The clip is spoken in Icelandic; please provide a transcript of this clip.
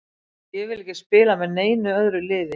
Ég vil ekki spila með neinu öðru liði.